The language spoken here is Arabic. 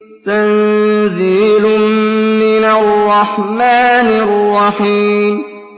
تَنزِيلٌ مِّنَ الرَّحْمَٰنِ الرَّحِيمِ